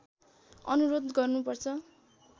अनुरोध गर्नु पर्छ